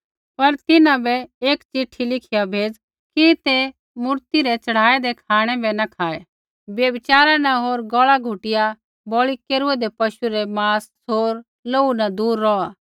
पर तिन्हां बै एक चिट्ठी लिखिया भेज़ कि ते मूरती रै च़ढ़ाऐदै खाँणै बै न खाऐ व्यभिचारा न होर गौल़ा घुटिया बलि केरूऐदै पशु रै माँस होर लोहू न दूर रौहलै